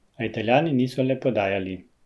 A Italijani niso le podajali.